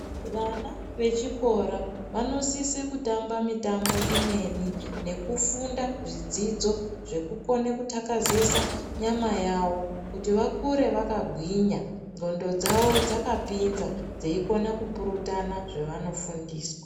Vana vechikora vanosise kutamba mitambo imweni nekufunda zvidzidzo zvekukone kutakazesa nyama yawo kuti vakure vakagwinya nwondo dzawo dzakapinza dzeikone kupurutana zvevanofundiswa